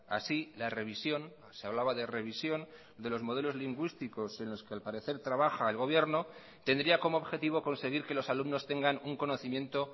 así la revisión se hablaba de revisión de los modelos lingüísticos en los que al parecer trabaja el gobierno tendría como objetivo conseguir que los alumnos tengan un conocimiento